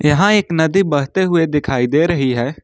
यहां एक नदी बहते हुए दिखाई दे रही है।